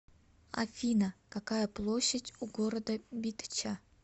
афина какая площадь у города битча